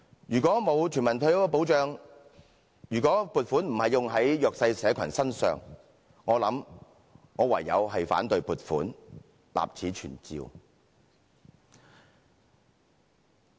如果沒有全民退休保障，如果撥款並非用在弱勢社群身上，我想我唯有反對撥款，立此存照。